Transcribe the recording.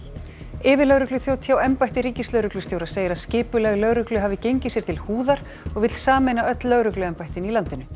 yfirlögregluþjónn hjá embætti ríkislögreglustjóra segir að skipulag lögreglu hafi gengið sér til húðar og vill sameina öll lögregluembættin í landinu